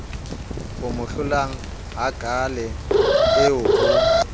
o hlomolang hakaale eo ho